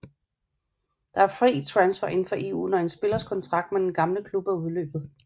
Der er fri transfer indenfor EU når en spillers kontrakt med den gamle klub er udløbet